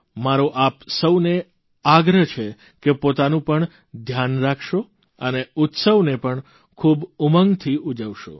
મારો આપ સૌને આગ્રહ છે કે પોતાનું પણ ધ્યાન રાખશો અને ઉત્સવને પણ ખૂબ ઉમંગથી ઉજવશો